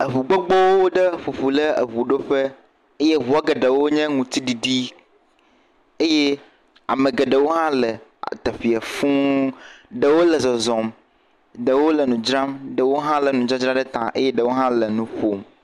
Eŋu gbogbowo ɖe ƒo ƒu ɖe eŋuɖoƒe eye eŋuɔ geɖewo nye ŋutiɖiɖi, eye ame geɖewo hã le teƒee fuu, ɖewo le zɔzɔm, ɖewo le nu dzram, ɖewo hã lé nudzadzra ɖe ta eye ɖewo hã le ƒom.